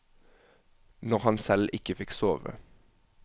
Når han selv ikke fikk sove.